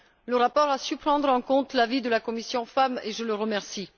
Le rapport a su prendre en compte l'avis de la commission FEMM, et je le remercie.